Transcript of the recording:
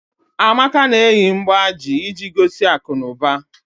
Amaka na-eyi mgbájí iji gosi akụnụba